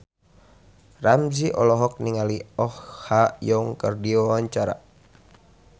Ramzy olohok ningali Oh Ha Young keur diwawancara